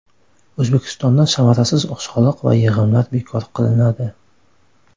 O‘zbekistonda samarasiz soliq va yig‘imlar bekor qilinadi.